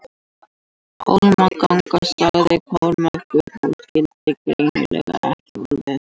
Hólmganga, sagði Kormákur og skildi greinilega ekki orðið.